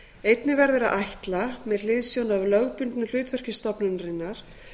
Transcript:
einnig verður að ætla með hliðsjón af lögbundnu hlutverki stofnunarinnar